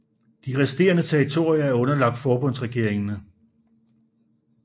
De resterende territorier er underlagt forbundsregeringen